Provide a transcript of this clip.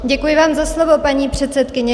Děkuji vám za slovo, paní předsedkyně.